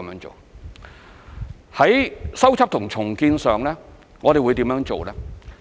在修葺和重建上，我們會怎樣做呢？